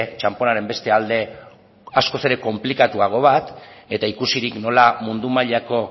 txanponaren beste alde askoz ere konplikatuago bat eta ikusirik nola mundu mailako